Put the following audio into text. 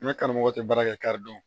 N ka karamɔgɔ tɛ baara kɛ ka dɔn